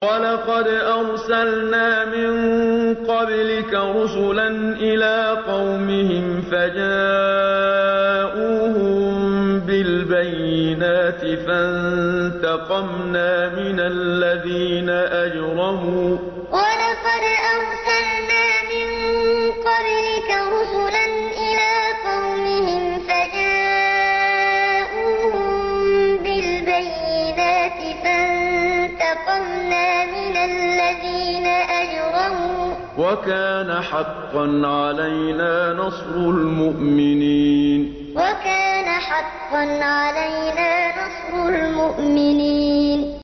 وَلَقَدْ أَرْسَلْنَا مِن قَبْلِكَ رُسُلًا إِلَىٰ قَوْمِهِمْ فَجَاءُوهُم بِالْبَيِّنَاتِ فَانتَقَمْنَا مِنَ الَّذِينَ أَجْرَمُوا ۖ وَكَانَ حَقًّا عَلَيْنَا نَصْرُ الْمُؤْمِنِينَ وَلَقَدْ أَرْسَلْنَا مِن قَبْلِكَ رُسُلًا إِلَىٰ قَوْمِهِمْ فَجَاءُوهُم بِالْبَيِّنَاتِ فَانتَقَمْنَا مِنَ الَّذِينَ أَجْرَمُوا ۖ وَكَانَ حَقًّا عَلَيْنَا نَصْرُ الْمُؤْمِنِينَ